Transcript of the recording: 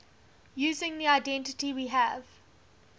using the identity we have